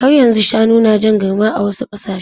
Har yanzu shanu na jan garma a wasu ƙasashe.